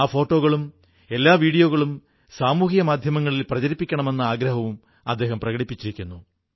ആ ഫോട്ടോകളും എല്ലാ വീഡിയോകളും സാമൂഹിക മാധ്യമങ്ങളിൽ പ്രചരിപ്പിക്കണമെന്നും അദ്ദേഹം ആഗ്രഹം പ്രകടിപ്പിച്ചു